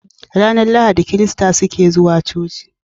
Ranar lahadi kirista suke zuwa coci